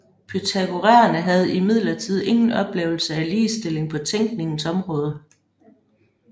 Pythagoræerne havde imidlertid ingen oplevelse af ligestilling på tænkningens område